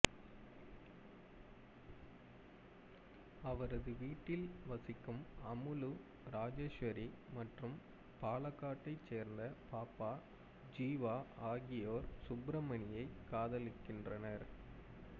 அவரது வீட்டில் வசிக்கும் அமுலு ராஜேஸ்வரி மற்றும் பாலக்காட்டைச் சேர்ந்த பாப்பா ஜீவா ஆகியோர் சுப்பிரமணியைக் காதலிக்கிறனர்